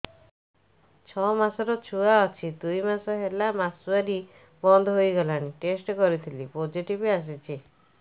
ଛଅ ମାସର ଛୁଆ ଅଛି ଦୁଇ ମାସ ହେଲା ମାସୁଆରି ବନ୍ଦ ହେଇଗଲାଣି ଟେଷ୍ଟ କରିଥିଲି ପୋଜିଟିଭ ଆସିଛି